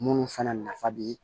Minnu fana nafa bi